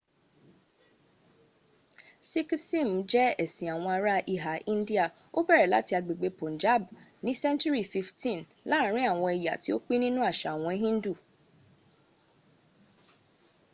sikhism je esin awon ara iha india o bere lati agbegbe punjab ni senturi 15th laarin awon eya ti o pin ninu asa awon hindu